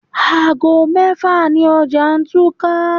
Aago mẹ́fà ni ọjà túká.